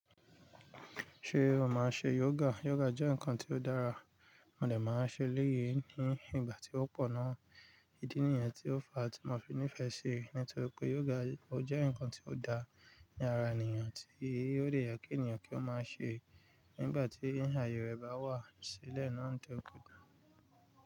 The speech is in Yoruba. Ṣé o máa n ṣe yoga? Yoga jẹ́ nǹkan tí ó dára, mo dè máa n ṣe eléyi ní ìgbà tí ó pọ̀ ná. Ìdí nìyẹn tí ó fa tí mo fi nífẹ̀ẹ́ ṣi i. Nítorí pé yoga jẹ́ nǹkan tí ó dára ní ara ènìyàn, tí ó de ye kí ènìyàn kí ó máa ṣe nígbà tí ààyè rẹ̀ bá wà sílẹ̀ náà tó kù dá.